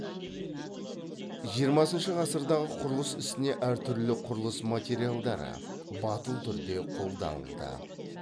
жиырмасыншы ғасырдағы құрылыс ісіне әр түрлі құрылыс материалдары батыл түрде қолданылды